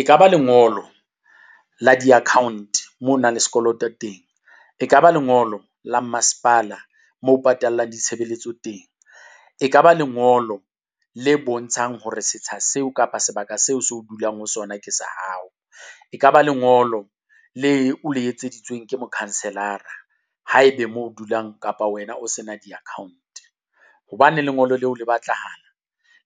e kaba lengolo la di-account mo nang le sekoloto teng, e kaba lengolo la masepala mo patallang ditshebeletso teng. E kaba lengolo le bontshang hore setsha seo kapa sebaka seo seo dulang ho sona ke sa hao. E kaba lengolo le o etseditswe ke mokhanselara. Haebe mo dulang kapa wena o sena di-account. Hobaneng lengolo leo le batlahala?